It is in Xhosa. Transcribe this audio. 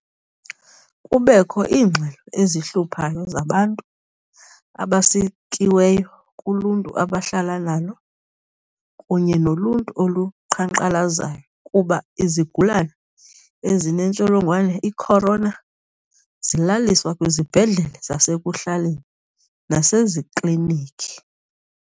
Kubekho iingxelo ezihluphayo zabantu abasikiweyo kuluntu abahlala nalo kunye noluntu oluqhankqalazayo kuba izigulana ezinentsholongwane i-corona zilaliswa kwizibhedlele zasekuhlaleni nasezikliniki.